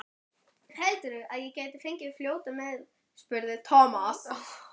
Heldurðu að ég gæti fengið að fljóta með? spurði Thomas.